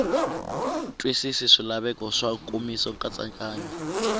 twisisi swilaveko swa nkomiso nkatsakanyo